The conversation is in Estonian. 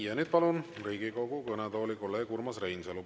Ja nüüd palun Riigikogu kõnetooli kolleeg Urmas Reinsalu.